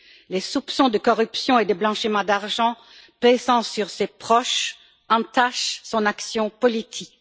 Les soupçons de corruption et de blanchiment d'argent pesant sur ses proches entachent son action politique.